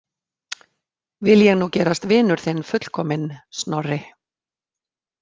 Vil ég nú gerast vinur þinn fullkominn, Snorri.